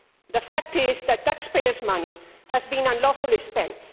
The fact is that taxpayers' money has been unlawfully spent.